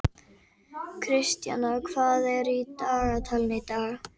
Kristjana, hvað er í dagatalinu í dag?